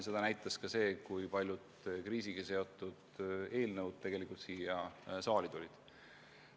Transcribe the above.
Seda näitas ka see, kui paljud kriisiga seotud eelnõud siia saali jõudsid.